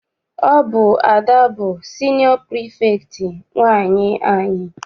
Ọ bụ Ada bụ siniọ pirifektị nwaanyị anyị.